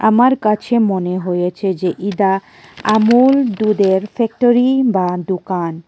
আমার কাছে মনে হয়েছে যে এডা আমুল দুধের ফ্যাক্টরি বা দোকান।